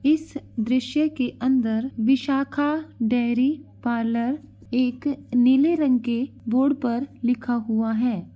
इस दृश्य के अंदर विशाखा डेयरी पार्लर एक नीले रंग के बोर्ड पर लिखा हुआ है।